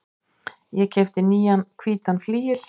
Ég keypti nýjan hvítan flygil.